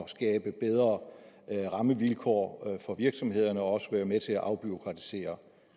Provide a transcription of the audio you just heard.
og skabe bedre rammevilkår for virksomhederne og vil også være med til at afbureaukratisere